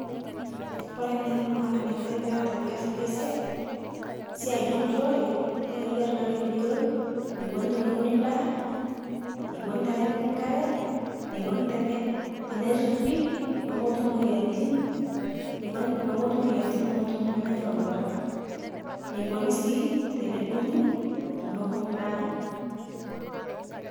Kore ng'eno naake nayaari pieta pias ele siai, siai le nturore naa eyaari naake pii eiyeloo neikoni tene uun ndaa, neikooni tene piiki nkaare, neikooni tene tene ripii pee motuum moyianitin, neikoni pee motuum moyianitin nemenya louwarak, neikooni sii tene duung'ii tonokuu ndaa.